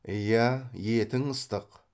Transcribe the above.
иә етің ыстық